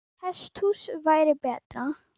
Hesthús væri betra.